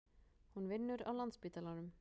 Hún vinnur á Landspítalanum.